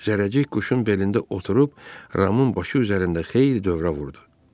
Zərrəcik quşun belində oturub Ramın başı üzərində xeyli dövrə vurdu.